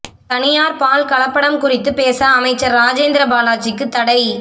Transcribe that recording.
தனியார் பால் கலப்படம் குறித்து பேச அமைச்சர் ராஜேந்திர பாலாஜிக்கு தடை